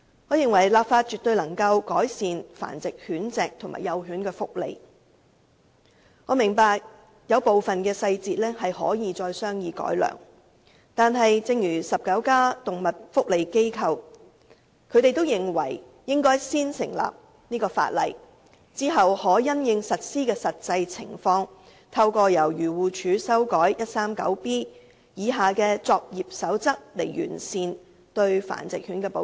我認為立法絕對能夠改善繁殖狗隻及幼犬的福利，我明白《修訂規例》有部分細節可以再行商議並改良，但19家動物福利機構都認為，應該先訂立法例，然後再因應實施的實際情況，透過由漁護署修訂第 139B 章下的作業守則來完善對繁殖狗隻的保障。